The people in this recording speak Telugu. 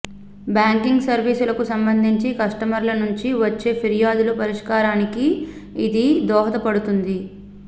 బ్యాంకింగ్ సర్వీసులకు సంబంధించి కస్టమర్ల నుంచి వచ్చే ఫిర్యాదుల పరిష్కారానికి ఇది దోహద పడుతుంది